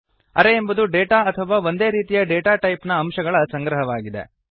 ಅರೇ ಎಂಬುದು ಡೇಟಾ ಅಥವಾ ಒಂದೇ ರೀತಿಯ ಡೇಟಾ ಟೈಪ್ ನ ಅಂಶಗಳ ಸಂಗ್ರಹವಾಗಿದೆ